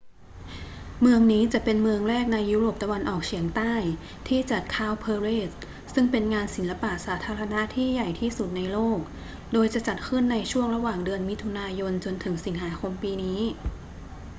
เมืองนี้จะเป็นเมืองแรกในยุโรปตะวันออกเฉียงใต้ที่จัด cowparade ซึ่งเป็นงานศิลปะสาธารณะที่ใหญ่ที่สุดในโลก โดยจะจัดขึ้นในช่วงระหว่างเดือนมิถุนายนจนถึงสิงหาคมปีนี้